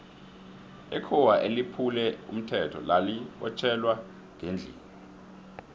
ikhuwa eliphule umthetho lali botjhelwa ngendlini